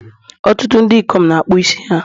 Ọtụtụ ndị ikom na akpụ isi ha